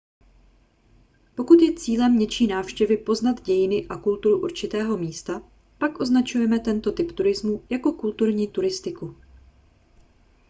pokud je cílem něčí návštěvy poznat dějiny a kulturu určitého místa pak označujeme tento typ turismu jako kulturní turistiku